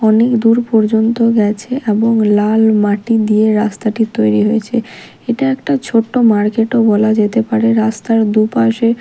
অনেক দূর পর্যন্ত গেছে এবং লাল মাটি দিয়ে রাস্তাটি তৈরি হয়েছে এটা একটা ছোট্ট মার্কেট -ও বলা যেতে পারে রাস্তার দুপাশে--